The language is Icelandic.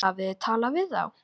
Hafið þið talað við þá?